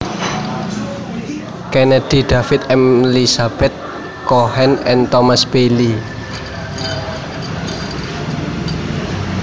Kennedy David M Lizabeth Cohen and Thomas Bailey